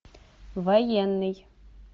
военный